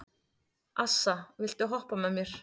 Assa, viltu hoppa með mér?